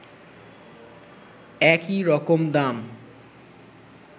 একই রকম দাম